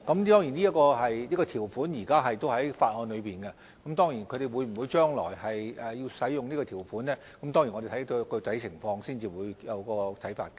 當然，這項條款現時仍然在法案中，至於積金局將來會否使用這項條款，我們要視乎具體情況才會有看法。